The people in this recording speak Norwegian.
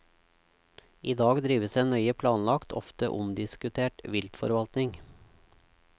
I dag drives en nøye planlagt, ofte omdiskutert, viltforvaltning.